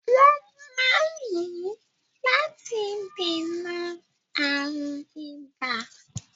Wọ́n máa ń lò ó láti dènà àrùn ibà.